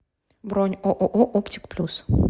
бронь ооо оптик плюс